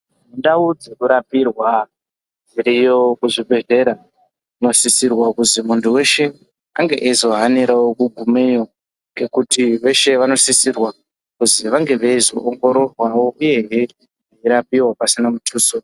Ndau dzekurapirwa dziriyo kuzvibhehlera dzinosisirwa kuti muntu weshe ange eyizohanirawo kugumeyo ngekuti veshe vanosisirwa kuzi vange veizowongororwawo uye veirapiwa pasina mutuso.